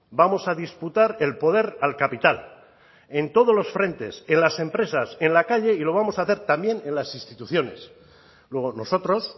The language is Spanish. vamos a disputar el poder al capital en todos los frentes en las empresas en la calle y lo vamos a hacer también en las instituciones luego nosotros